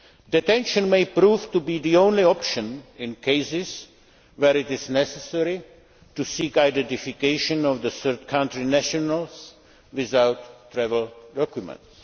Detention may prove to be the only option in cases where it is necessary to seek identification of third country nationals without travel documents.